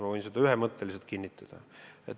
Ma võin seda ühemõtteliselt kinnitada.